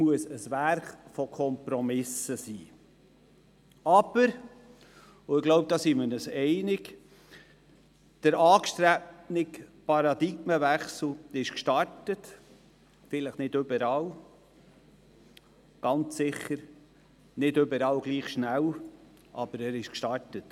Aber, und ich glaube, hierin sind wir uns einig: Der angestrebte Paradigmenwechsel wurde gestartet, vielleicht nicht überall, und ganz sicher nicht überall gleich schnell, aber er wurde gestartet.